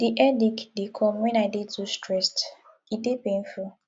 di headache dey come wen i dey too stressed e dey painful